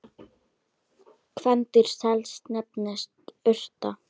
Kvendýr sels nefnist urta.